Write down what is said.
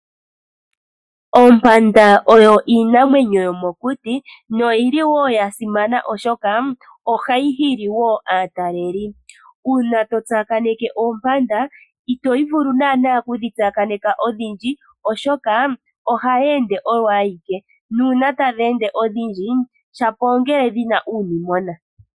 Ompanda oyo oshinamwenyo shomokuti na oshili sha simana oshoka ohashi nana aatalelipo. Uuna wa tsakaneka ompanda ito vulu okudhi adha odhindji oshoka ohadhi ende kooyimwe. Uuna tadhi ende odhindji shapo ongele dhi na uunimona.